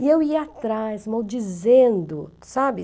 E eu ia atrás, maldizendo, sabe?